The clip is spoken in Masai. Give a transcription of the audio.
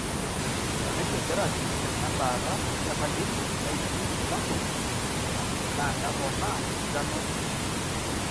radiation therapy ena embaata e palliative naishu ilbulabul na nepoona esidano enkishui.